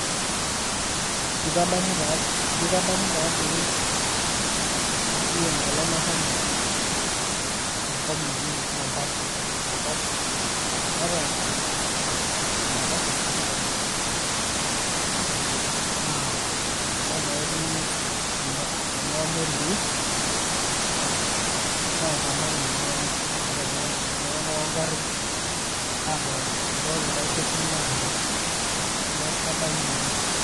Eji kadamu tadii oshi enkolong' nashomo enkop naji Mombasa. Enkop naata enaiposha sapuk oleng'. Naa ninye naa etii ena kuna melii, naitang' iltung'anak naitalang' iltung'anak ogarrin apik kuldo likae kekun lenkare. Neeku kadamu oleng'.